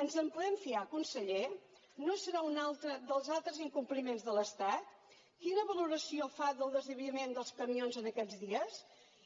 ens en podem fiar conseller no serà un altre dels altres incompliments de l’estat quina valoració fa del desviament dels camions aquests dies